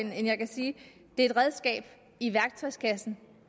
det her er et redskab i værktøjskassen